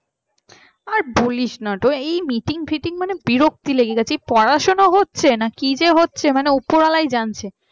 আর বলিস না meeting fitting মানে বিরক্ত লেগে গেছে এই পড়াশোনা হচ্ছে নাকি কি যে হচ্ছে মানে উপর ওয়ালাই জানছে।